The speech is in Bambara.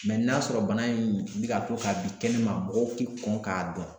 n'a sɔrɔ bana in bi ka to k'a bi kɛnɛma mɔgɔw ti kɔn k'a dɔn